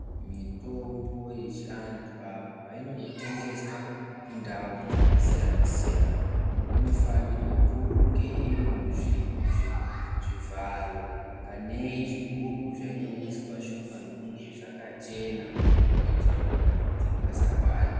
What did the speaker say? Mitombo yechivantu apo painono tengeswa kundau dzakasiyana-siyana. Inofanirwe kunge iri muzvivharo kanei zvigubhu zvainoiswa zvinofano kunge zvakachena kuitira kuti matambudziko asawande.